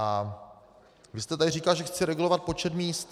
A vy jste tady říkal, že chci regulovat počet míst.